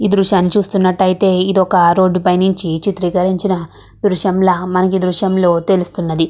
ఈ దృశ్యాన్ని చూస్తున్నటైతే ఇది ఒక రోడ్ పైనుంచి చిత్రీకరించిన దృశ్యం ల మనకి ఈ దృశ్యం లో తెలుస్తున్నది.